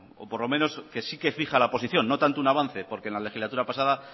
o por lo menos que sí que fija la posición no tanto un avance porque en la legislatura pasada